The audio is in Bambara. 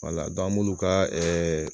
Wala an bu n'u ka